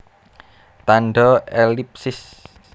Tandha ellipsis